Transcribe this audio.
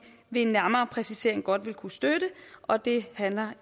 ved en nærmere præcisering godt vil kunne støtte og det handler